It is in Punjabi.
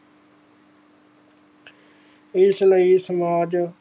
ਇਸ ਲਈ ਸਮਾਜ